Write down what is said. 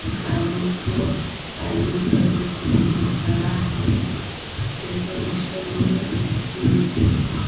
काली coat काली pant पे ये घड़ा है डेकोरेशन में मुझे--